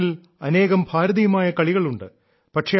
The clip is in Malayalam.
നമ്മുടെ നാട്ടിൽ അനേകം ഭാരതീയമായ കളികളുണ്ട്